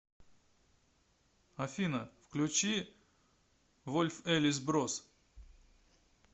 афина включи вольф элис брос